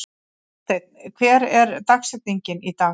Jósteinn, hver er dagsetningin í dag?